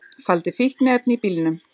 Faldi fíkniefni í bílnum